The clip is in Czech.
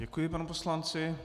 Děkuji panu poslanci.